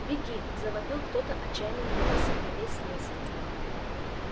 беги завопил кто-то отчаянным голосом на весь лес